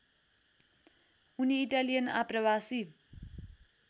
उनी इटालियन आप्रवासी